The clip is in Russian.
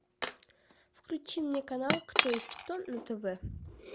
включи мне канал кто есть кто на тв